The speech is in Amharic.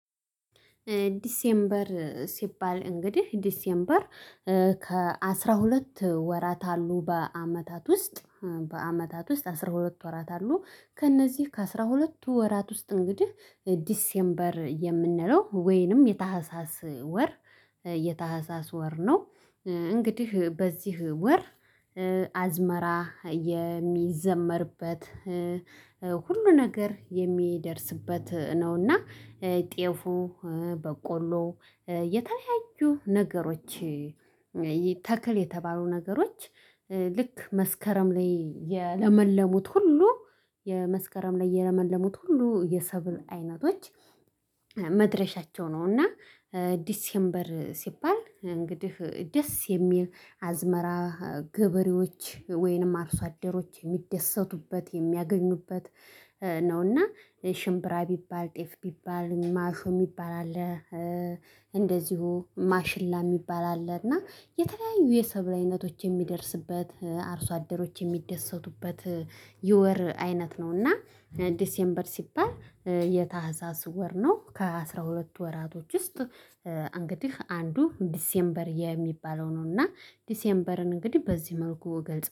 ዲሴምበር ሲባል እንግዲህ ዲሴምበር ከአሥራ ሁለት ወራት አሉ በአመታት ውስጥ በአመታት ውስጥ አስራ ሁለት ወራት አሉ። ከእነዚህ ከአስራ ሁለቱ ወራት ውስጥ እንግዲህ ዲሴምበር የምንለው ወይንም የታህሳስ ወር የታህሳስ ወር ነው። እንግዲህ በዚህ ወር አዝመራ የሚዘመርበት ሁሉ ነገር የሚደርስበት ነውና። ጤፉ በቆሎ የተለያዩ ነገሮች ተክል የተባሉ ነገሮች ልክ መስከረም ላይ የለመለሙት ሁሉ የመስከረም ላይ የለመለሙት ሁሉ የሰብል አይነቶች መድረሻቸው ነው። እና ዲሴምበር ሲባል እንግዲህ ደስ የሚል አዝመራ ገበሬዎች ወይንም አርሶ አደሮች የሚደሰቱበት የሚያገኙበት ነውና። ሽምብራ ቢባል ጤፍ ቢባል ማርሾ የሚባል አለ። እንደዚሁ ማሽላ የሚባል አለ እና የተለያዩ የሰብራዊነቶች የሚደርስበት አርሶ አደሮች የሚደሰቱበት የወር አይነት ነው። እና ዲሴምበር ሲባል የታህዛዝ ወር ነው። ከአሥራ ሁለት ወራቶች ውስጥ እንግዲህ አንዱ ዲሴምበር የሚባለው ነው እና ዲሴምበርን እንግዲህ በዚህ መልኩ እገልጸዋለሁ